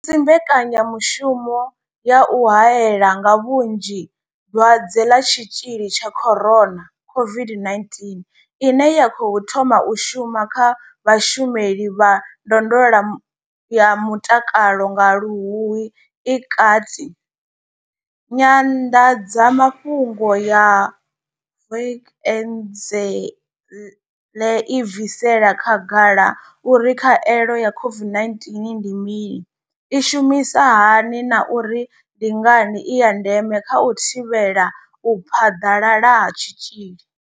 Musi mbekanyamushumo ya u haela nga vhunzhi dwadze ḽa tshitzhili tsha corona COVID-19 ine ya khou thoma u shuma kha vhashumeli vha ndondolo ya mutakalo nga luhuhi i kati, nyanḓadzamafhungo ya Vukuzenzele i bvisela khagala uri khaelo ya COVID-19 ndi mini, i shumisa hani na uri ndi ngani i ya ndeme kha u thivhela u phaḓalala ha tshitzhili.